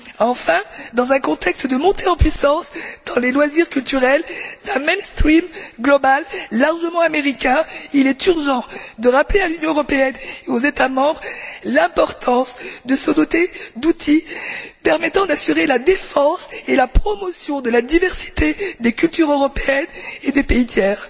Enfin, dans un contexte de montée en puissance, dans les loisirs culturels, d'un mainstream global largement américain, il est urgent de rappeler à l'Union européenne et aux États membres l'importance de se doter d'outils permettant d'assurer la défense et la promotion de la diversité des cultures européennes et des pays tiers.